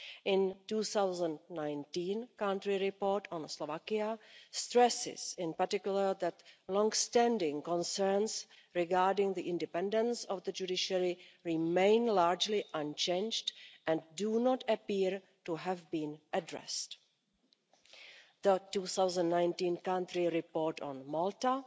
In 2019 the Country Report on Slovakia stresses, in particular, that long standing concerns regarding the independence of the judiciary remain largely unchanged and do not appear to have been addressed. The 2019 Country Report on Malta